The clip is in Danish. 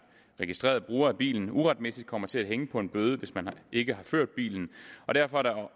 registrerede bruger af bilen uretmæssigt kommer til at hænge på en bøde hvis man ikke har ført bilen og derfor er